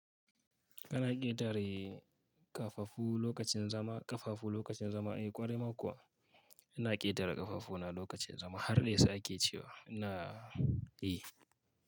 Ana ƙetare kafafu lokacin zama, kafafu lokacin zama, eh ƙwarai ma kuwa, ina ƙetare kafafu na lokacin zama har dai saƙe cewa na, eh.